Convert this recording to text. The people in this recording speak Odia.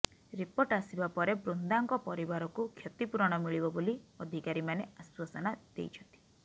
ରିପୋର୍ଟ ଆସିବା ପରେ ବୃନ୍ଦାଙ୍କ ପରିବାରକୁ କ୍ଷତିପୂରଣ ମିଳିବ ବୋଲି ଅଧିକାରୀମାନେ ଆଶ୍ୱାସନା ଦେଇଛନ୍ତି